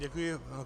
Děkuji.